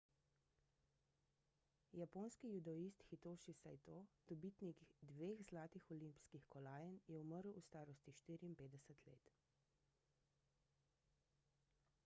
japonski judoist hitoši saito dobitnik dveh zlatih olimpijskih kolajn je umrl v starosti 54 let